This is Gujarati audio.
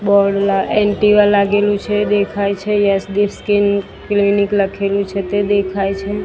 લાગેલુ છે દેખાય છે સ્કિન ક્લિનિક લખેલુ છે તે દેખાય છે.